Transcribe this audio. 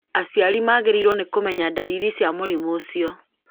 aciari magĩrĩirũo nĩ kũmenya dariri cia mũrimũ ũcio